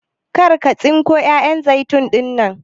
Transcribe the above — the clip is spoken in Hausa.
Kar ka tsinko 'ya'yan zaitun ɗinnan!